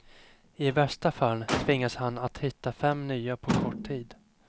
I värsta fall tvingas han att hitta fem nya på kort tid.